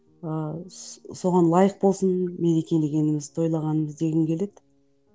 ыыы соған лайық болсын мерекелегеніміз тойлағанымыз дегім келеді